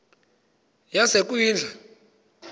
yasekwindla